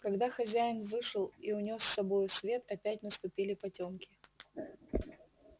когда хозяин вышел и унёс с собою свет опять наступили потёмки